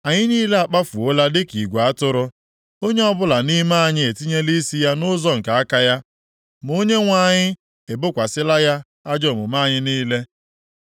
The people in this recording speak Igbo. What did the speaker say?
Anyị niile akpafuola dịka igwe atụrụ; onye ọbụla nʼime anyị etinyela isi ya nʼụzọ nke aka ya. Ma Onyenwe anyị ebokwasịla ya ajọ omume anyị niile.